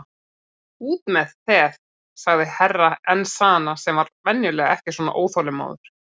Út með þeð, sagði Herra Enzana sem var venjulega ekki svona óþolinmóður.